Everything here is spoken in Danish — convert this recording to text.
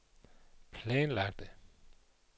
planlagte